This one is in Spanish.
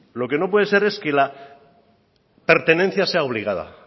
lo que no puede ser es que la pertenencia sea obligada